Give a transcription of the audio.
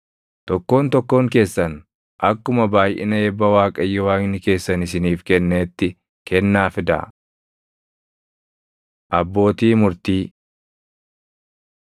Tokkoon tokkoon keessan akkuma baayʼina eebba Waaqayyo Waaqni keessan isiniif kenneetti kennaa fidaa. Abbootii Murtii